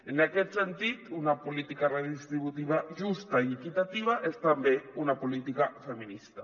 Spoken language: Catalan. en aquest sentit una política redistributiva justa i equitativa és també una políti·ca feminista